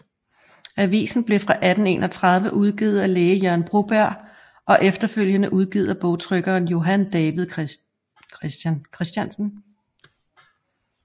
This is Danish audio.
Avisen blev fra 1831 udgivet af læge Jørgen Broberg og efterfølgende udgivet af bogtrykker Johan David Chr